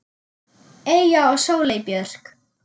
Eyja og Sóley Björk.